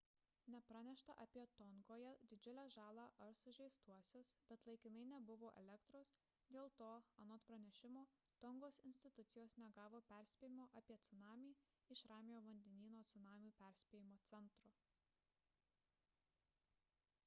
nepranešta apie tongoje didžiulę žalą ar sužeistuosius bet laikinai nebuvo elektros dėl to anot pranešimo tongos institucijos negavo perspėjimo apie cunamį iš ramiojo vandenyno cunamių perspėjimo centro